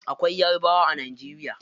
Akwai yarabawa a najeriya.